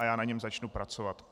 A já na něm začnu pracovat.